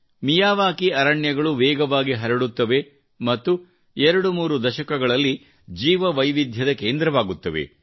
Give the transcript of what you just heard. Miyawaki ಅರಣ್ಯಗಳು ವೇಗವಾಗಿ ಹರಡುತ್ತವೆ ಮತ್ತು ಎರಡು ಮೂರು ದಶಕಗಳಲ್ಲಿ ಜೀವವೈವಿಧ್ಯದ ಕೇಂದ್ರವಾಗುತ್ತವೆ